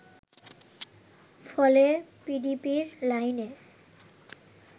ফলে পিডিবির লাইনে